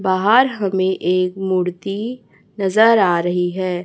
बाहर हमें एक मूर्ति नजर आ रही है।